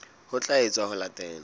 ho tla etswa ho latela